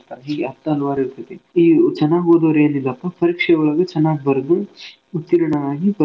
ಹೀಗೆ ಹತ್ತು ಹಲ್ವಾರ್ ಇರ್ತೇತಿ. ಈ ಚನಾಗ್ ಓದೋರ್ ಏನೀಲ್ಪಾ ಪರೀಕ್ಷೆ ಒಳ್ಗ ಚನಾಗ್ ಬರ್ದು ಉತ್ತೀರ್ಣವಾಗಿ.